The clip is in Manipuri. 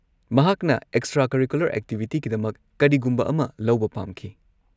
ꯃꯍꯥꯛꯅ ꯑꯦꯛꯁꯇ꯭ꯔꯥ-ꯀꯔꯤꯀꯨꯂꯔ ꯑꯦꯛꯇꯤꯚꯤꯇꯤꯒꯤꯗꯃꯛ ꯀꯔꯤꯒꯨꯝꯕ ꯑꯃ ꯂꯧꯕ ꯄꯥꯝꯈꯤ꯫